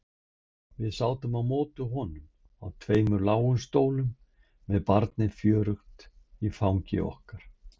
Við sátum á móti honum á tveimur lágum stólum með barnið fjörugt í fangi okkar.